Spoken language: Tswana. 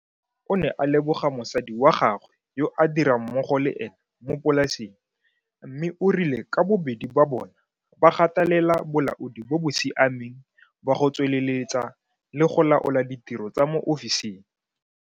O ne a leboga mosadi wa gagwe yo a dirang mmogo le ena mo polaseng mme o rile ka bobedi ba bona ba gatelela bolaodi bo bo siameng ba go tsweleletsa le go laola ditiro tsa mo ofising.